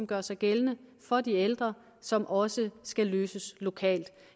gør sig gældende for de ældre som også skal løses lokalt